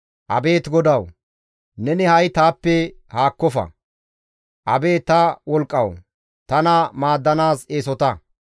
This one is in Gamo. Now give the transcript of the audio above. Abeet GODAWU! Neni ha7i taappe haakkofa. Abeet ta wolqqawu! Tana maaddanaas eesota.